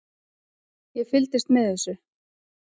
Ég fylgdist með þessu.